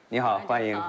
Nə, xoş gəldin, xoş gəldin.